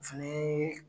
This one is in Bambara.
Fini